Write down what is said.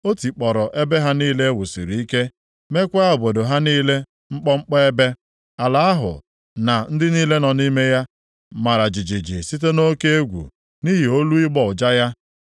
O tikpọrọ ebe ha niile e wusiri ike meekwa obodo ha niile mkpọmkpọ ebe. Ala ahụ na ndị niile nọ nʼime ya, mara jijiji site nʼoke egwu nʼihi olu ịgbọ ụja ya.